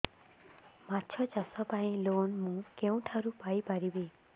ମାଛ ଚାଷ ପାଇଁ ଲୋନ୍ ମୁଁ କେଉଁଠାରୁ ପାଇପାରିବି